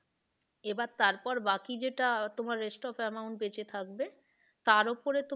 এবার তারপর বাকি যেটা তোমার rest of amount বেঁচে থাকবে তার ওপরে,